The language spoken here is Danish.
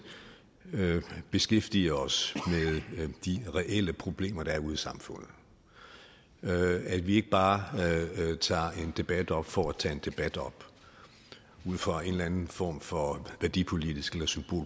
beskæftiger os med de reelle problemer der er ude i samfundet at vi ikke bare tager en debat op for at tage en debat op ud fra en eller anden form for værdipolitisk